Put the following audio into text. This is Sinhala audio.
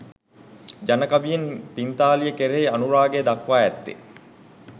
ජන කවියෙන් පිංතාලිය කෙරෙහි අනුරාගය දක්වා ඇත්තේ